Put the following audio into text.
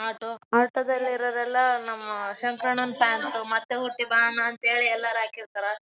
ಇವಾಗ್ ಪೇಟೆಗೆಲ್ಲಾದ್ರೂ ಹೋಗ್ಬೇಕು ಸಿಟಿ ಗೆ ಹೋಗ್ಬೇಕು ಅಂದ್ರೆ ಆಟೋ ದಲ್ಲೇ ಹೋಗ್ಬೇಕ್ ನಾವ್.